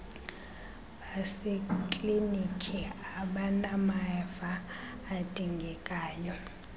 baseklinikhi abanamava adingekayo